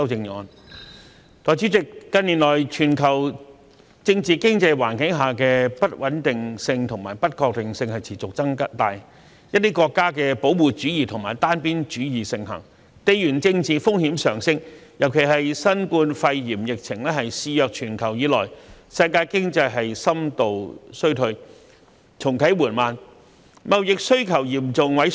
代理主席，近年全球政治經濟環境的不穩定性和不確性持續增大，一些國家的保護主義和單邊主義盛行，地緣政治風險上升，尤其是自新冠肺炎疫情肆虐全球以來，世界經濟深度衰退而重啟緩慢，貿易需求嚴重萎縮。